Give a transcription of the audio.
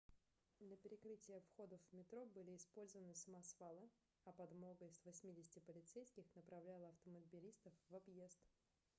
для перекрытия входов в метро были использованы самосвалы а подмога из 80 полицейских направляла автомобилистов в объезд